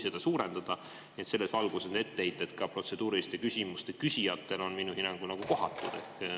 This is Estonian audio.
Nii et selles valguses on etteheited protseduuriliste küsimuste küsijatele minu hinnangul kohatud.